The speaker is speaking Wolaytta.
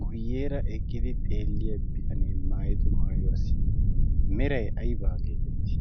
guyyeera eqqidi xeelliya bitanee maayido maayuwaasi merai aibaa geetettii?